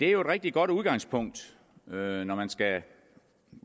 jo et rigtig godt udgangspunkt når når man skal